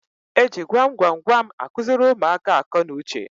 E ji gwam gwam gwam akụziri ụmụaka akọ na uche.